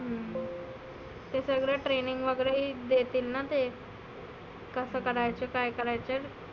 हम्म ते सगळ training वगैरे देतील ना ते. कसं करायचं काय करायचं.